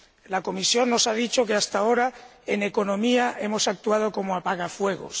La Comisión nos ha dicho que, hasta ahora, en economía hemos actuado como apagafuegos.